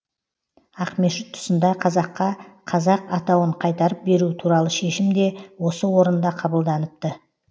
ақмешіт тұсында қазаққа қазақ атауын қайтарып беру туралы шешім де осы орында қабылданыпты